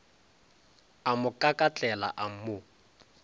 a mo kakatlela a mo